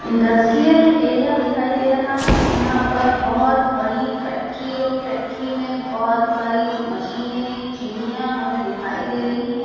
Industrial area दिखाई दे रहा है यहां पर बहुत बड़ी फैक्ट्री और फैक्ट्री में बहुत सारी मशीनें चिमनियां हमें दिखाई दे रही हैं।